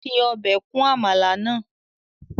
Fi obe kun amala naa